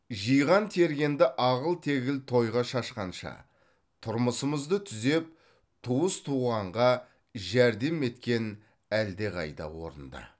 жиған тергенді ағыл тегіл тойға шашқанша тұрмысымызды түзеп туыс туғанға жәрдем еткен әлдеқайда орынды